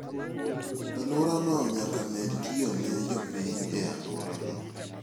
Alworano nyaka med tiyone jopiny e alworano.